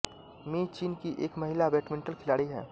मी चीन की एक महिला बैडमिंटन खिलाड़ी हैं